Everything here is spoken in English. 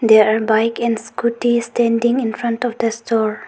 There are bike and scooties standing in front of the store.